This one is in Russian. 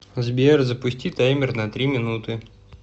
сбер запусти таймер на три минуты